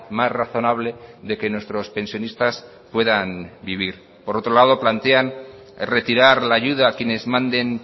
más razonable de que nuestros pensionistas puedan vivir por otro lado plantean retirar la ayuda a quienes manden